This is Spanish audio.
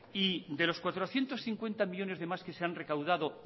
y de los cuatrocientos cincuenta millónes de más que se han recaudado